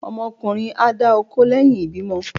ọmọ ọkunrín a dà okó leyín ìbímo